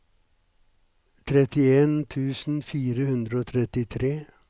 trettien tusen fire hundre og trettitre